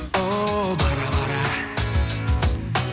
о бара бара